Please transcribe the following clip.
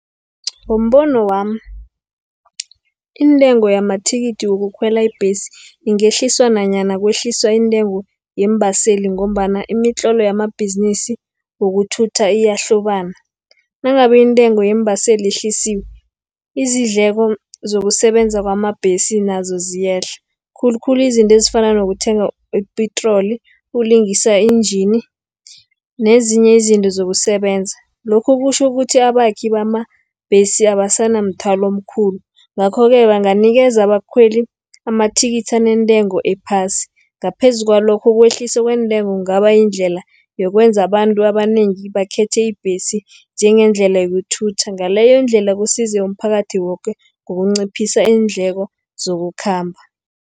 Ngombono wami intengo yamathikithi wokukhwela ibhesi ingehliswa nanyana kwehliswa intengo yeembaseli, ngombana imitlolo yamabhizinisi yokuthutha iyahlobana. Nangabe intengo yeembaseli yehlisiwe, izindleko zokusebenza wamabhesi nazo ziyehla, khulukhulu izinto ezifana nokuthenga ipetroli, ukulingisa i-engine nezinye izinto zokusebenza. Lokhu kutjho ukuthi abakhi bamabhesi abasana mthwalo omkhulu, ngakho-ke banganikeza abakhweli amathikithi anentengo ephasi. Ngaphezu kwalokho, ukwehlisa kweentengo kungaba yindlela yokwenza abantu abanengi bakhethe ibhesi njengendlela yokuthutha, ngaleyo ndlela kusiza umphakathi woke ngokunciphisa iindleko zokukhamba.